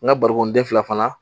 N ka barikonden fila fana